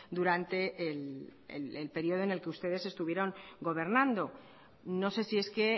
durante en el periodo en el que ustedes estuvieron gobernando no sé si es que